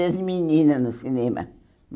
desde menina no cinema.